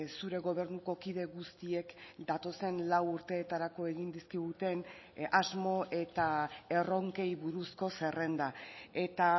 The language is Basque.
zure gobernuko kide guztiek datozen lau urteetarako egin dizkiguten asmo eta erronkei buruzko zerrenda eta